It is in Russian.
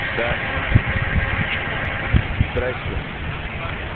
да здравствуйте здравствуйте